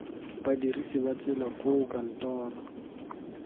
badirisi ba tsela koo kantoro